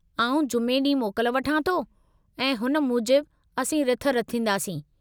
आउं जुमे ॾींहुं मोकल वठां थो, ऐं हुन मूजिबु असीं रिथ रिथंदासीं।